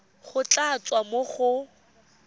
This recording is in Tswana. go tla tswa mo go